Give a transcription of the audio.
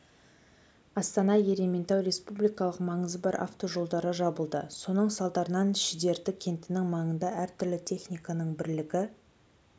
астана-ерейментау республикалық маңызы бар автожолдары жабылды соның салдарынан шідерті кентінің маңында әр түрлі техниканың бірлігі